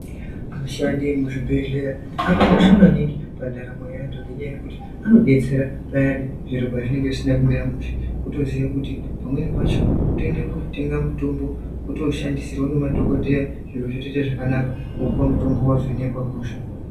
Ashandi emuzvibhedhlera akakosha maningi kune antu ngekuti anodetsera maningi zviro pazvinenge zvisina kumira mushe wotoziya kuti pamweni pacho kutoenda kotenge mitombo wotoshandisirwa ngemadhokoteya zviro zvotoita zvakanaka wopiw mitombo wavhenekwa hosha